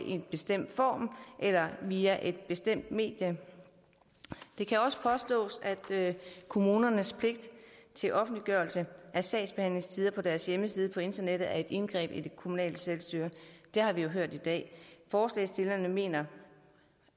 en bestemt form eller via et bestemt medie det kan også påstås at kommunernes pligt til offentliggørelse af sagsbehandlingstider på deres hjemmeside på internettet er et indgreb i det kommunale selvstyre det har vi jo hørt i dag forslagsstillerne mener